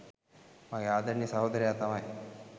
මගේ ආදරණීය සහෝදරයා තමයි.